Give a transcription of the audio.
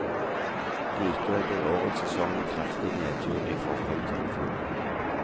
Likevel blir årets sesong en kraftig nedtur i forhold til i fjor.